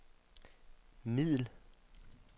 middel